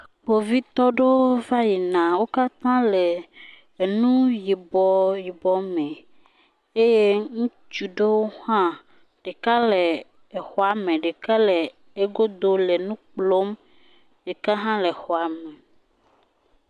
Kpovitɔwo aɖewo va yina. Wo katã wòle enu yibɔ yibɔ me eye ŋutsu aɖewo hã ɖeka le xɔa me, ɖeka le egodo le nukplɔm. Ɖeka hã le xɔa me.